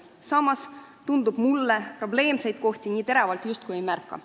Samas tundub mulle, et probleemseid kohti me nii teravalt justkui ei märka.